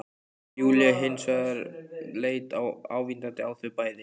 Júlía hins vegar leit ávítandi á þau bæði